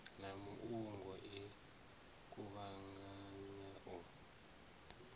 na muungo i kuvhanganya u